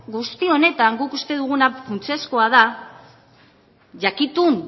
guzti honetan guk uste duguna funtsezkoa da jakitun